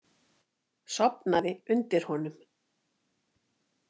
Sofnaði undir honum.